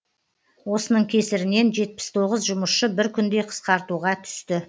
осының кесірінен жетпіс тоғыз жұмысшы бір күнде қысқартуға түсті